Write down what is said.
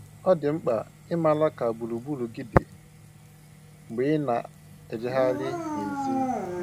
Ọ dị mkpa ịmara ka gburugburu gị dị mgbe ị na-ejegharị n'èzí